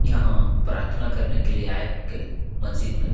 यहाँ प्राथना करने के लिए आए होंगे मस्जिद में।